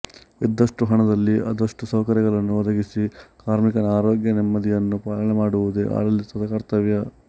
ಇದ್ದಷ್ಟು ಹಣದಲ್ಲಿ ಆದಷ್ಟು ಸೌಕರ್ಯಗಳನ್ನು ಒದಗಿಸಿ ಕಾರ್ಮಿಕನ ಆರೋಗ್ಯ ನೆಮ್ಮದಿಯನ್ನು ಪಾಲನೆ ಮಾಡುವುದು ಆಡಳಿತದ ಕರ್ತವ್ಯ